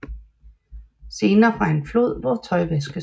Scener fra en flod hvor tøj vaskes